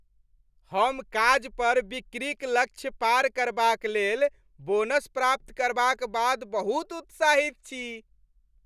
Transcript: हम काज पर बिक्रीक लक्ष्य पार करबाक लेल बोनस प्राप्त करबाक बाद बहुत उत्साहित छी।